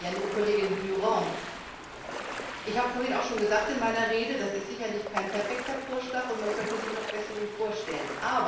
Liebe Kollegin Durant, ich habe vorhin auch schon in meiner Rede gesagt, das ist sicherlich kein perfekter Vorschlag und man könnte sich noch Besserung vorstellen.